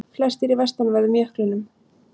Flestir í vestanverðum jöklinum